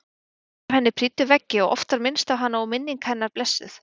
Myndir af henni prýddu veggi og oft var minnst á hana og minning hennar blessuð.